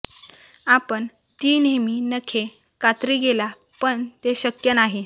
आपण ती नेहमी नखे कात्री गेला पण ते शक्य नाही